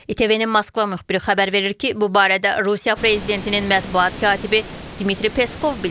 ITV-nin Moskva müxbiri xəbər verir ki, bu barədə Rusiya prezidentinin mətbuat katibi Dmitri Peskov bildirib.